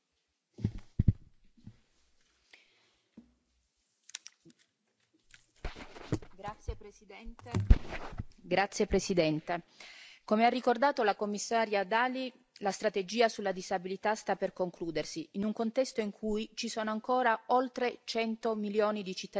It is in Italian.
Signor Presidente, onorevoli colleghi, come ha ricordato la commissaria Dalli, la strategia sulla disabilità sta per concludersi in un contesto in cui ci sono ancora oltre 100 milioni di cittadini disabili che quotidianamente sperimentano barriere che ostacolano la loro vita indipendente.